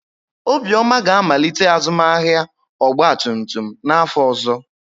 Obioma ga-amalite azụmahịa ọgba tum tum n'afọ ọzọ.